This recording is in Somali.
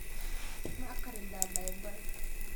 Ma akhridaa Baybalka?